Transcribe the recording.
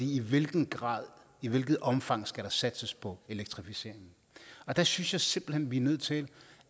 i hvilken grad og i hvilket omfang skal der satses på elektrificeringen der synes jeg simpelt hen at vi er nødt til